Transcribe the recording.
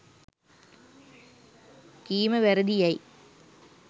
කීම වැරැදියැයි